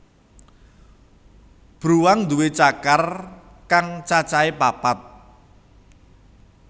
Bruwang nduwé cakar kang cacahé papat